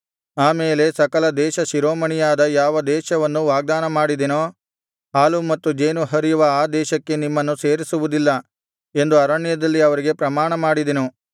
ಆ ಮೇಲೆ ಸಕಲ ದೇಶ ಶಿರೋಮಣಿಯಾದ ಯಾವ ದೇಶವನ್ನು ವಾಗ್ದಾನಮಾಡಿದೆನೋ ಹಾಲೂ ಮತ್ತು ಜೇನು ಹರಿಯುವ ಆ ದೇಶಕ್ಕೆ ನಿಮ್ಮನ್ನು ಸೇರಿಸುವುದಿಲ್ಲ ಎಂದು ಅರಣ್ಯದಲ್ಲಿ ಅವರಿಗೆ ಪ್ರಮಾಣ ಮಾಡಿದೆನು